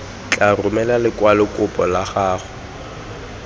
tla romela lekwalokopo la gago